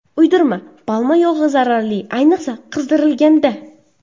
Uydirma: palma yog‘i zararli, ayniqsa qizdirilganda.